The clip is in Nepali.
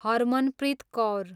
हरमनप्रित कौर